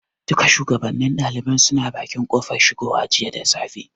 Duka shugabannin ɗaliban suna bakin kofar shigowa jiya da safe.